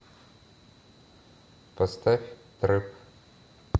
поставь трэп